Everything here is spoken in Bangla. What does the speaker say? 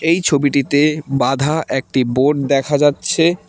এই ছবিটিতে বাঁধা একটি বোর্ড দেখা যাচ্ছে।